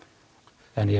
en ég